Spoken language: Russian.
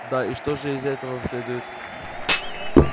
да и что же из этого следует